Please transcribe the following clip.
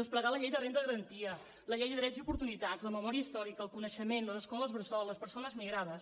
desplegar la llei de renda garantida la llei de drets i oportunitats la memòria històrica el coneixement les escoles bressol les persones migrades